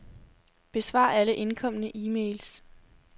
Besvar alle indkomne e-mails.